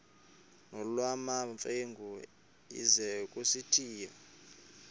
nolwamamfengu ize kusitiya